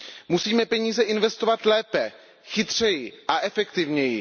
Musíme peníze investovat lépe, chytřeji a efektivněji.